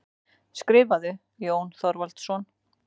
Skrifarðu, Jón Þorvaldsson?